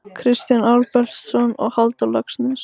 Kristján Albertsson og Halldór Laxness